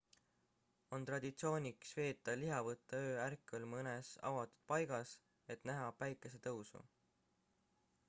on traditsiooniks veeta lihavõtteöö ärkvel mõnes avatud paigas et näha päikesetõusu